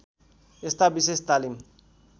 यस्ता विशेष तालिम